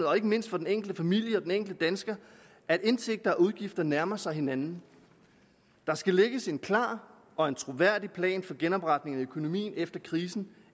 og ikke mindst for den enkelte familie og den enkelte dansker at indtægter og udgifter nærmer sig hinanden der skal lægges en klar og troværdig plan for genopretning af økonomien efter krisen